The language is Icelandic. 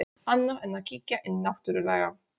Annað en að kíkja inn náttúrlega.